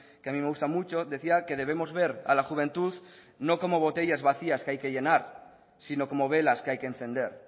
que a mí me gusta mucho decía que debemos ver a la juventud no como botellas vacías que hay que llenar sino como velas que hay que encender